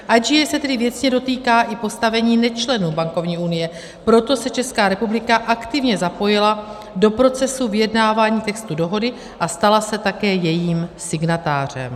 IGA se tedy věcně dotýká i postavení nečlenů bankovní unie, proto se Česká republika aktivně zapojila do procesu vyjednávání textu dohody a stala se také jejím signatářem.